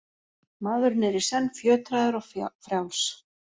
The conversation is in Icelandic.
Maðurinn er í senn fjötraður og frjáls.